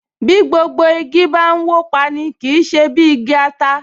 Bí gbogbo igi bá n wó pa’ni, kì í ṣe bí ti igi ata